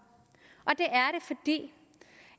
det